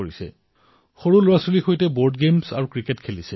সন্তানৰ সৈতে board game আৰু ক্ৰিকেট খেলিছে